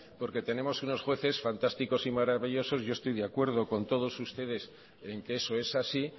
porque tenemos unos jueces fantásticos y maravillosos yo estoy de acuerdo con todos ustedes en que eso es así